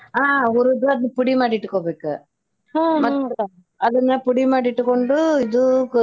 ಹಾ ಹುರಿದ್ ಅದನ್ನ ಪುಡಿ ಮಾಡಿ ಇಟ್ಟ್ಕೊಬೇಕಾ ಮತ್ತ ಅದನ್ನ ಪುಡಿ ಮಾಡಿ ಇಟ್ಟಕೊಂಡು.